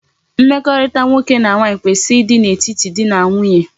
Mmeko nwoke na nwanyi kwesiri di n'etiti dị na nwunye.